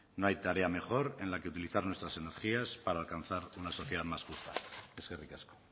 no hay tarea mejor en la que utilizar nuestras energías para alcanzar una sociedad más justa eskerrik asko